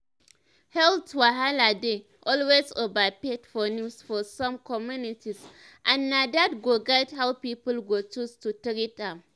health wahala dey always overhyped for news for some communities and na that go guide how people go choose to treat am."